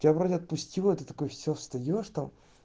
тебя вроде отпустило ты такой все встаёшь там